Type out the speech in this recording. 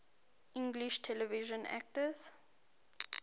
english television actors